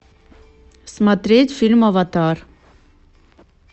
смотреть фильм аватар